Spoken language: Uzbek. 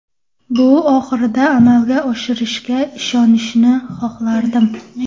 Bu oxirida amalga oshishiga ishonishni xohlardim.